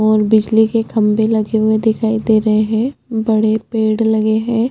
और बिजली के खम्बे लगे हुए दिखाई दे रहे है बड़े पेड लगे है।